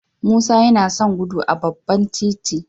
Musa yana son gudu a babban titi